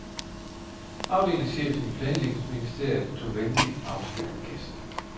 Afdelingschefen i planlægningsministeriet tog venligt afsked med gæsten.